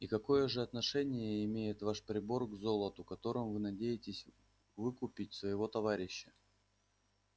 и какое же отношение имеет ваш прибор к золоту которым вы надеетесь выкупить своего товарища